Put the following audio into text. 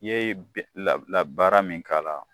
I ye la la baara min k'a la.